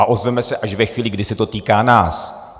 A ozveme se až ve chvíli, kdy se to týká nás.